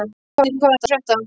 Draupnir, hvað er að frétta?